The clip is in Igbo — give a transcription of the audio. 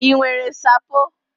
I nwere nsapo?